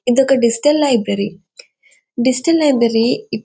ఇదొక digital library . Digital library --